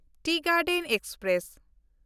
T garden express